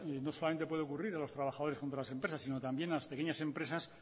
no solamente puede ocurrir en los trabajadores contra las empresas sino también a las pequeñas empresas